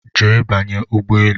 Jee banye ụgbọelu!